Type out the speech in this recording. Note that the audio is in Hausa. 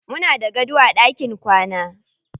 Muna da gado a ɗakin kwana.